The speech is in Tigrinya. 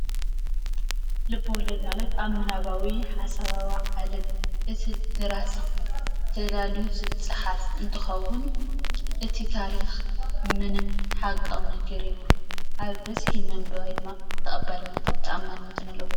ልበ-ወለድ ማለት ካብ ምናባዊ ሓሳባዊ ዓለም እቲ ደራሲ ተዳልዩ ዝፀሓፍ እንትኸውን እቲ ታሪኽ ምንም ሓቃዊ ነገር የብሉን፡፡ ኣብ በዝሒ መንበባይ ድማ ተቐባልነትን ተኣማንነትን ኣለዎ፡፡